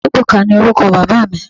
Ebuka ni oruko baba mi